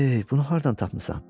Ey, bunu hardan tapmısan?